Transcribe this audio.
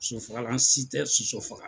Sosofagalan si tɛ soso faga.